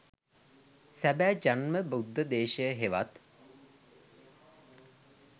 සැබෑ ජන්ම බුද්ධ දේශය හෙවත්